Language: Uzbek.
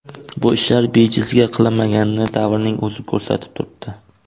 Bu ishlar bejizga qilinmaganini davrning o‘zi ko‘rsatib turibdi.